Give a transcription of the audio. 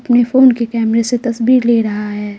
अपने फोन के कैमरे से तस्वीर ले रहा है।